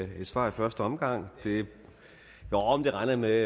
med et svar i første omgang det regner jeg med